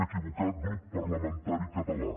equivocat grup parlamentari català